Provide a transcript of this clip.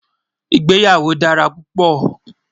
ìgbéyàwó dára púpò